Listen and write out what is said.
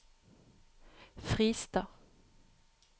Friestad